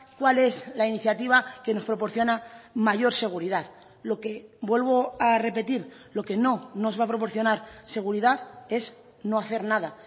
cuál es la iniciativa que nos proporciona mayor seguridad lo que vuelvo a repetir lo que no nos va a proporcionar seguridad es no hacer nada